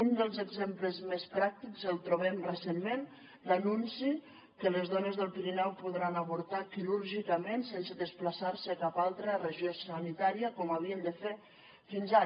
un dels exemples més pràctics el trobem recentment l’anunci que les dones del pirineu podran avortar quirúrgicament sense desplaçar se a cap altra regió sanitària com havien de fer fins ara